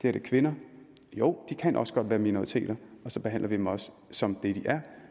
er kvinder jo de kan også godt være minoriteter og så behandler vi dem også som det de er